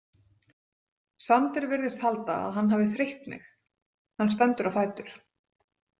Sander virðist halda að hann hafi þreytt mig, hann stendur á fætur.